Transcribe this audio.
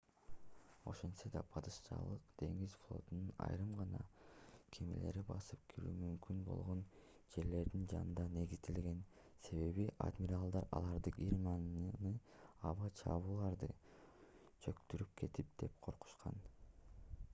ошентсе да падышачылык деңиз флотунун айрым гана кемелери басып кирүү мүмкүн болгон жерлердин жанында негизделген себеби адмиралдар аларды германиянын аба чабуулдары чөктүрүп кетет деп коркушкан